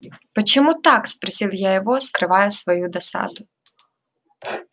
почему так спросил я его скрывая свою досаду